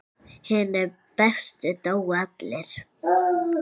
Hinir bestu dóu allir.